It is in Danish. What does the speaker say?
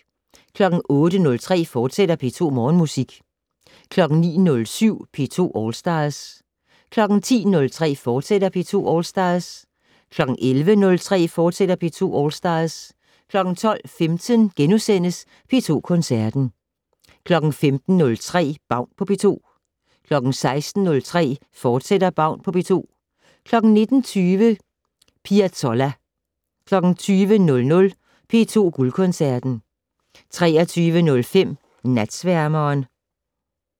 08:03: P2 Morgenmusik, fortsat 09:07: P2 All Stars 10:03: P2 All Stars, fortsat 11:03: P2 All Stars, fortsat 12:15: P2 Koncerten * 15:03: Baun på P2 16:03: Baun på P2, fortsat 19:20: Piazzolla 20:00: P2 Guldkoncerten 23:05: Natsværmeren